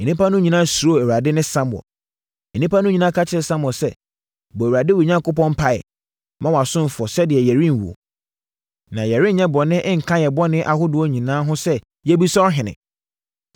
Nnipa no nyinaa ka kyerɛɛ Samuel sɛ, “Bɔ Awurade, wo Onyankopɔn, mpaeɛ ma wʼasomfoɔ sɛdeɛ yɛrenwuo, na yɛrenyɛ bɔne nka yɛn bɔne ahodoɔ nyinaa ho sɛ yɛabisa ɔhene.”